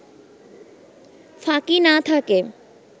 ফাঁকি না থাকে